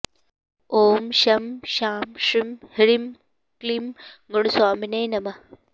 ॐ शं शां षं ह्रीं क्लीं गुणस्वामिने नमः